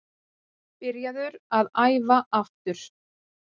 Byrjaður að æfa aftur.